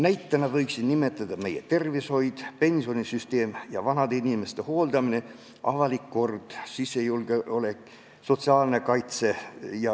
Näitena nimetan meie tervishoidu, pensionisüsteemi, vanade inimeste hooldamist, avalikku korda, sisejulgeolekut, sotsiaalset kaitset.